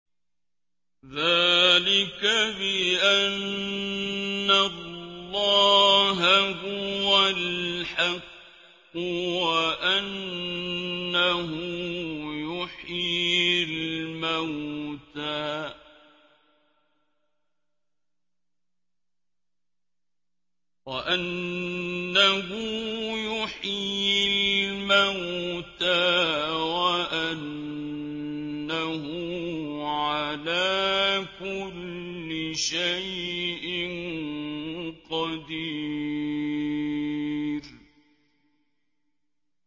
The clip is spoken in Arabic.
ذَٰلِكَ بِأَنَّ اللَّهَ هُوَ الْحَقُّ وَأَنَّهُ يُحْيِي الْمَوْتَىٰ وَأَنَّهُ عَلَىٰ كُلِّ شَيْءٍ قَدِيرٌ